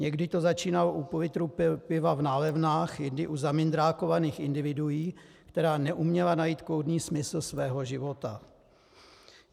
Někdy to začínalo u půllitru piva v nálevnách, jindy u zamindrákovaných individuí, která neuměla najít kloudný smysl svého života.